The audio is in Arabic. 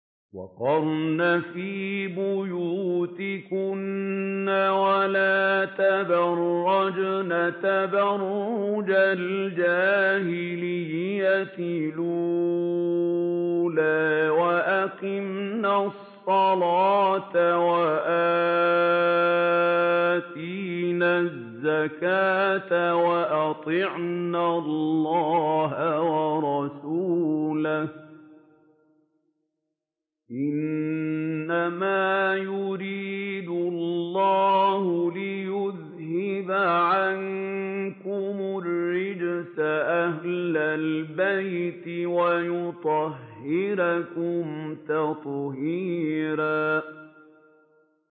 وَقَرْنَ فِي بُيُوتِكُنَّ وَلَا تَبَرَّجْنَ تَبَرُّجَ الْجَاهِلِيَّةِ الْأُولَىٰ ۖ وَأَقِمْنَ الصَّلَاةَ وَآتِينَ الزَّكَاةَ وَأَطِعْنَ اللَّهَ وَرَسُولَهُ ۚ إِنَّمَا يُرِيدُ اللَّهُ لِيُذْهِبَ عَنكُمُ الرِّجْسَ أَهْلَ الْبَيْتِ وَيُطَهِّرَكُمْ تَطْهِيرًا